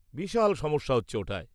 -বিশাল সমস্যা হচ্ছে ওটায়।